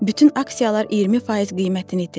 Bütün aksiyalar 20% qiymətini itirib.